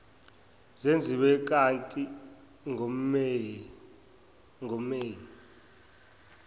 zenziwa kati ngomeyi